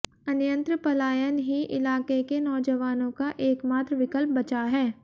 अन्यत्र पलायन ही इलाके के नौजवानों का एकमात्र विकल्प बचा है